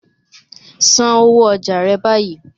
San owó ọjà rẹ báyìí.